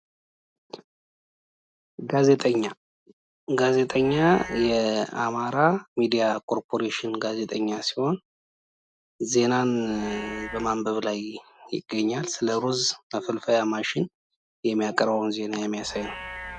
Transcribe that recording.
ጋዜጠኛ፡ጋዜጠኛ እንግዲህ የአማራ ሚድያ ኮርፖሬሽን ጋዜጠኛ ሲሆን ዜናን በማንበብ ላይ ይገኛል። ስለ ሩዝ ማፈልፈያ ማሽን የሚገልፅ ዜና ነው ።